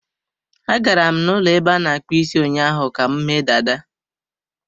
Agara m n'ụlọ ebe a na-akpụ isi ụnyaahụ ka m mee dada.